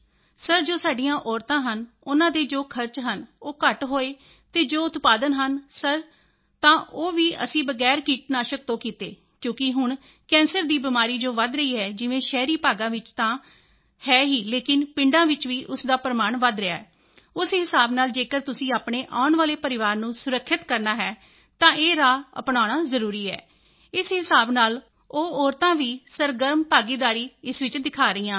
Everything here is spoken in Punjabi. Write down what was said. ਸਰ ਜੋ ਸਾਡੀਆਂ ਮਹਿਲਾਵਾਂ ਹਨ ਉਨ੍ਹਾਂ ਦੇ ਜੋ ਖਰਚ ਹਨ ਉਹ ਘੱਟ ਹੋਏ ਅਤੇ ਜੋ ਉਤਪਾਦ ਹਨ ਸਰ ਤਾਂ ਉਹ ਵੀ ਅਸੀਂ ਬਗੈਰ ਕੀਟਨਾਸ਼ਕ ਤੋਂ ਕੀਤੇ ਕਿਉਂਕਿ ਹੁਣ ਕੈਂਸਰ ਦੀ ਬਿਮਾਰੀ ਜੋ ਵਧ ਰਹੀ ਹੈ ਜਿਵੇਂ ਸ਼ਹਿਰੀ ਭਾਗਾਂ ਵਿੱਚ ਤਾਂ ਹੈ ਹੀ ਲੇਕਿਨ ਪਿੰਡਾਂ ਵਿੱਚ ਵੀ ਉਸ ਦਾ ਪ੍ਰਮਾਣ ਵਧ ਰਿਹਾ ਹੈ ਉਸ ਹਿਸਾਬ ਨਾਲ ਜੇਕਰ ਤੁਸੀਂ ਆਪਣੇ ਆਉਣ ਵਾਲੇ ਪਰਿਵਾਰ ਨੂੰ ਸੁਰੱਖਿਅਤ ਕਰਨਾ ਹੈ ਤਾਂ ਇਹ ਰਾਹ ਅਪਨਾਉਣਾ ਜ਼ਰੂਰੀ ਹੈ ਇਸ ਹਿਸਾਬ ਨਾਲ ਉਹ ਮਹਿਲਾਵਾਂ ਵੀ ਸਰਗਰਮ ਭਾਗੀਦਾਰੀ ਇਸ ਵਿੱਚ ਦਿਖਾ ਰਹੀਆਂ ਹਨ